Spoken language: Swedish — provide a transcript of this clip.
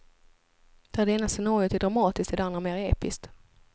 Där det ena scenariot är dramatiskt, är det andra mer episkt.